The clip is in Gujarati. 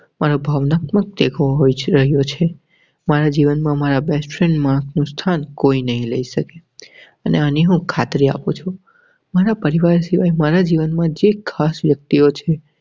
દેખો હોય છે. કયો છે મારા જીવનમાં મારા best friend નું સ્થાન કોઈ નહીં લઈ શકે અને આની હું ખાતરી આપું છું. મારા પરિવાર સિવાય મારા જીવનમાં જે ખાસ વ્યક્તિઓ છે.